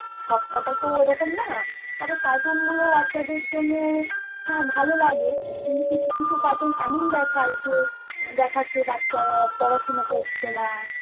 সবকটা তো ওই রকম না তবে cartoon গুলো বাচ্চাদের জন্য হ্যাঁ ভালো লাগে কিন্তু কিছু কিছু cartoon এমন দেখায় যে দেখাচ্ছে বাচ্চারা পড়াশোনা করছে না